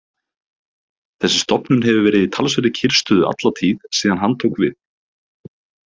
Þessi stofnun hefur verið í talsverðri kyrrstöðu alla tíð síðan hann tók við.